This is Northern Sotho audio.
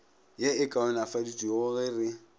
ye e kaonafaditšwego ge re